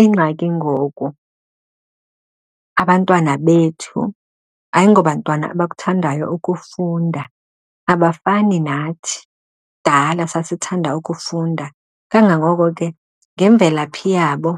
Ingxaki ngoku abantwana bethu ayingobantwana abakuthandayo ukufunda abafani nathi. Kudala sasithanda ukufunda kangangoko ke ngemvelaphi yabo